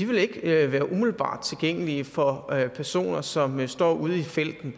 ikke være umiddelbart tilgængelige for personer som står ude i felten